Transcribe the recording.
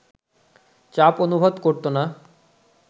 চাপ অনুভব করতো না